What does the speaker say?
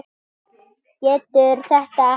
Getur þetta ekki.